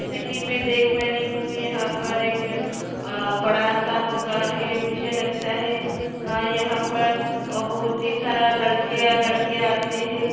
जैसे की मै देख पा रही हूँयहां पर एक आ बड़ा-सा दुकान हैं मुझे लगता हैंआ यहां पर आ बहुत ही सारे लड़के और लड़किया आते हैं।